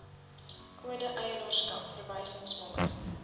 kode eienaarskap verwysingsnommer